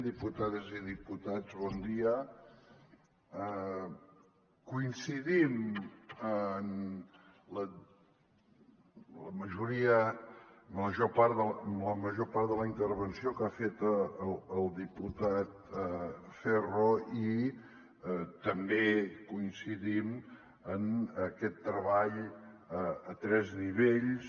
diputades i diputats bon dia coincidim en la major part de la intervenció que ha fet el diputat ferro i també coincidim en aquest treball a tres nivells